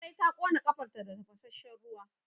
Larai ta ƙons ƙafarta da tafasasshen ruwa.